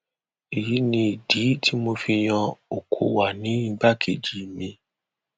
èyí ni ìdí tí mo fi yan okọwà ní igbákejì mi